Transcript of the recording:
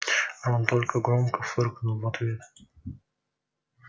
рон только громко фыркнул в ответ